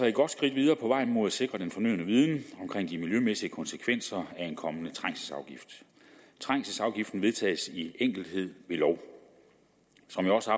et godt skridt videre på vejen mod at sikre den fornødne viden om de miljømæssige konsekvenser af en kommende trængselsafgift trængselsafgiften vedtages i enkelthed ved lov som jeg også